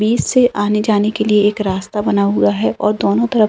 बिच से आने-जाने के लिए एक रास्ता बना हुआ है और दोनों तरफ --